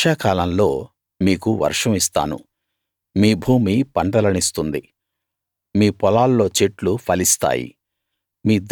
వర్షాకాలంలో మీకు వర్షం ఇస్తాను మీ భూమి పంటలనిస్తుంది మీ పొలాల్లో చెట్లు ఫలిస్తాయి